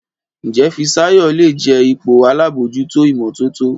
Njé Fisayo lẹ jé ipò àlabòjuto imototo?